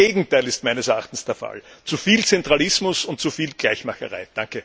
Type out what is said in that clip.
Das Gegenteil ist meines Erachtens der Fall. Zu viel Zentralismus und zu viel Gleichmacherei.